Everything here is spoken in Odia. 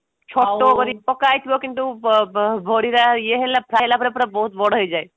ଛପ କରିକି ପକା ହେଇଥିବ କିନ୍ତୁ ବ ବ ବଢି ଗୁଡା ଇଏ ହେଲା fry ହେଲା ପରେ ବହୁତ ବଡ ହେଇଯାଏ